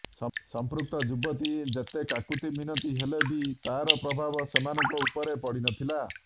ସଂପୃକ୍ତ ଯୁବତୀ ଯେତେ କାକୁତି ମିନତି ହେଲେ ବି ତାର ପ୍ରଭାବ ସେମାନଙ୍କ ଉପରେ ପଡିନଥିଲା